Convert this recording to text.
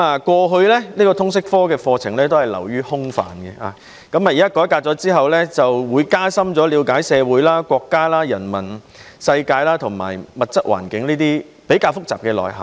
過去通識科的課程流於空泛，改革後的通識科會讓學生加深了解社會、國家、人文世界和物質環境等較為複雜的內容。